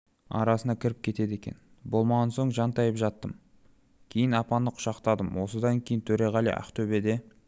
арасына кіріп кетеді екен болмаған соң жантайып жаттым кейін апаны құшақтадым осыдан кейін төреғали ақтөбеге